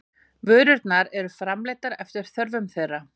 Vörurnar eru framleiddar eftir þörfum þeirra.